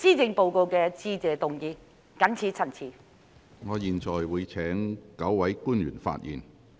如沒有其他議員想發言，我會請9位官員發言。